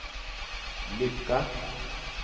lycka